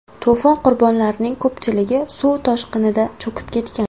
To‘fon qurbonlarining ko‘pchiligi suv toshqinida cho‘kib ketgan.